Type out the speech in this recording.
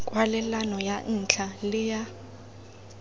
kwalelano ya ntlha le ya